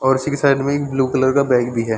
और इसी की साइड में एक ब्लू कलर का बैग भी हैं ।